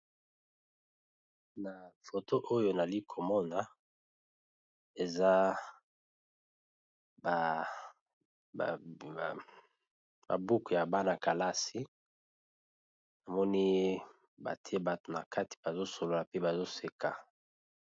Na foto oyo nali komona eza babuku ya bana-kalasi namoni bate bato na kati bazosolola pe bazoseka.